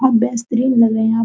आप लग रहे हैं आप |